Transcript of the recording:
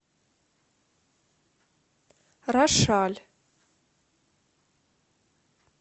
рошаль